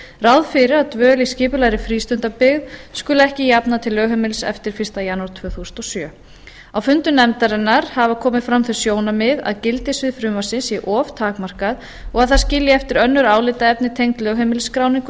ráð fyrir að dvöl í skipulegri frístundabyggð skuli ekki jafna til lögheimilis eftir fyrsta janúar tvö þúsund og sjö á fundi nefndarinnar hafa komið fram þau sjónarmið að gildissvið frumvarpsins sé of takmarkað og það skilji eftir önnur álitaefni tengd lögheimilisskráningu